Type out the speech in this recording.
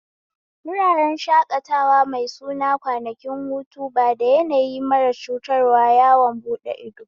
Wuraren shakatawa mai suna kwanakin hutu bada yanayi mara cutarwa yawon buɗe ido